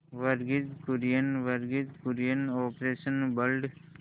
Verghese Kurien Verghese Kurien operation blood